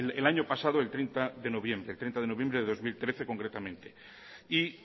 el año pasado el treinta de noviembre de dos mil trece concretamente y